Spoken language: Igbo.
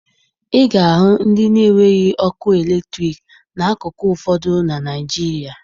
Ị ga-ahụ ndị na-enweghi ọkụ eletriki n'akụkụ ụfọdụ na Naịjirịa